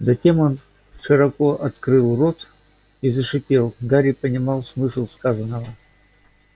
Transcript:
затем он широко открыл рот и зашипел гарри понимал смысл сказанного